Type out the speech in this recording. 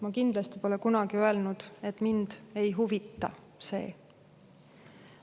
Ma kindlasti pole kunagi öelnud, et mind ei huvita see.